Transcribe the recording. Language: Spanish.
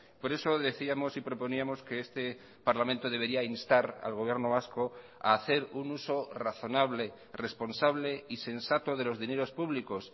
por eso decíamos y proponíamos que este parlamento debería instar al gobierno vasco a hacer un uso razonable responsable y sensato de los dineros públicos